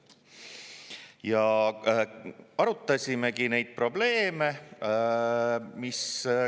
Ja arutasimegi neid probleeme.